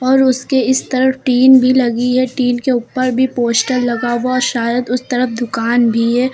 और उसके इस तरफ टीन भी लगी है टीन के ऊपर भी पोस्टर लगा हुआ शायद उस तरफ दुकान भी है।